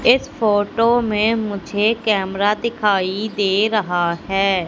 इस फोटो में मुझे कैमरा दिखाई दे रहा है।